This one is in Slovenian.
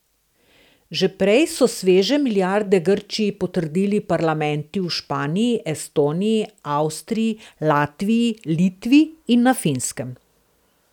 Že prej so sveže milijarde Grčiji potrdili parlamenti v Španiji, Estoniji, Avstriji, Latviji, Litvi in na Finskem.